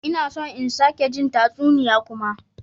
Ina son in sake jin tatsuniya kuma.